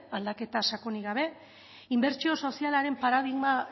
aldaketa sakonik gabe inbertsio sozialaren paradigma